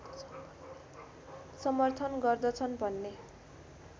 समर्थन गर्दछन् भन्ने